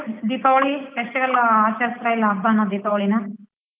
Deepavali special ಆಚರಿಸ್ತಾಯಿಲ್ಲ ಹಬ್ಬನ ದೀಪಾವಳಿನ?